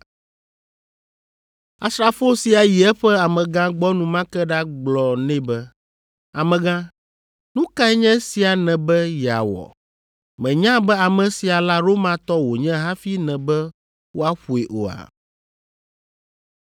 Asrafo sia yi eƒe amegã gbɔ enumake ɖagblɔ nɛ be, “Amegã, nu kae nye esia nèbe yeawɔ? Mènya be ame sia la Romatɔ wònye hafi nèbe woaƒoe oa?”